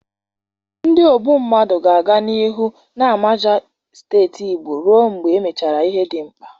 Ndi ogbu mmadụ ga-aga n'ihu na-amaja steeti Igbo ruo mgbe emechara ihe dị mkpa.